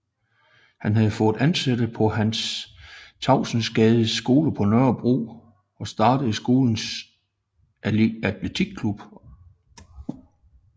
Han havde fået ansættelse på Hans Tavsensgades skole på Nørrebro og startede skolens atletik klub